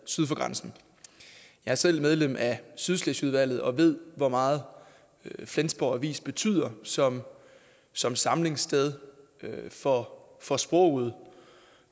syd for grænsen jeg er selv medlem af sydslesvigudvalget og ved hvor meget flensborg avis betyder som som samlingssted for for sproget